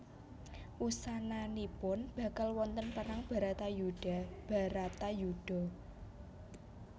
Wusananipun bakal wonten perang Bratayuda Bharatayuddha